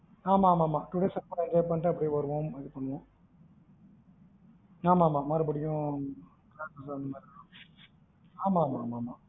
ஆமா ஆமா ஆமா two days enjoy அப்டியே பண்ணிட்டு வருவோம், இது பண்ணுவோம் ஆமா ஆமா மறுபடியும் ஆமாஆமா